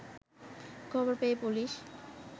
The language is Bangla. খবর পেয়ে পুলিশ